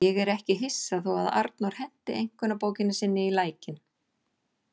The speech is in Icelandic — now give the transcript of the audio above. Ég er ekki hissa þó að Arnór henti einkunnabókinni sinni í lækinn.